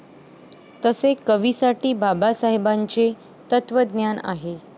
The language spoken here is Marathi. तसे कवीसाठी बाबासाहेबाचे तत्वज्ञान आहे.